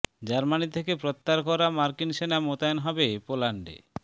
Germany থেকে প্রত্যাহার করা মার্কিন সেনা মোতায়েন হবে পোল্যান্ডে